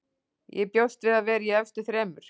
Ég bjóst við að vera í efstu þremur.